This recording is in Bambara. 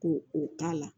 Ko o k'a la